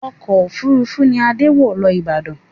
Ọkọ̀ òfuurufú ni Adé wọ̀ lọ Abuja